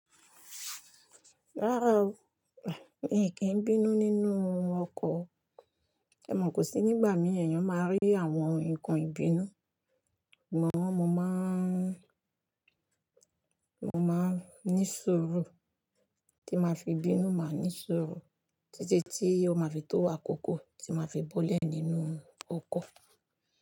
Rárá o, mi kìí bínú nínú ọkọ̀, èmò kò sí nígbà mí èyàn máa rí àwọn nǹkan ìbínú. Mọ̀ mọ́ maa n, mo máa ń ní sùúru tí máa fi bínú, máa ní sùúrù títí tí ó máa fi tó wà kókó tí máa fi bọlé nínú ọkọ̀.